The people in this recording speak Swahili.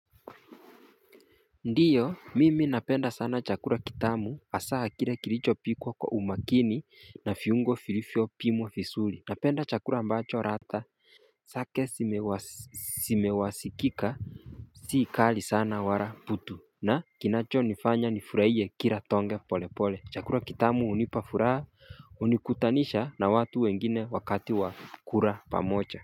Ndiyo mimi napenda sana chakula kitamu hasa kile kilichopikwa kwa umakini na viungo vilivyopimwa vizuri napenda chakula ambacho ladha zake zimewasikika si kali sana wala butu na kinachonifanya nifurahie kila tonge pole pole chakula kitamu hunipa furaha hunikutanisha na watu wengine wakati wa kula pamoja.